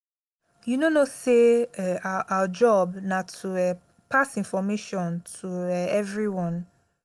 you no know say um our job na to um pass information to um everyone